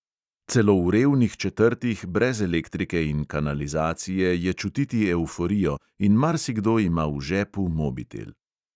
Celo v revnih četrtih brez elektrike in kanalizacije je čutiti evforijo in marsikdo ima v žepu mobitel.